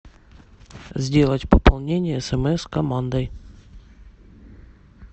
сделать пополнение смс командой